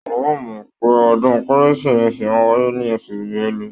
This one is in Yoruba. Wọn ò mọ́ pé ọdún kérésìmesì máa wáyé ní oṣù Bẹ́lu.